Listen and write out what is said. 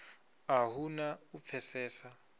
a hu na u pfesesa